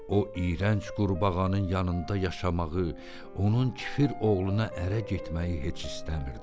O iyrənc qurbağanın yanında yaşamağı, onun kəfir oğluna ərə getməyi heç istəmirdi.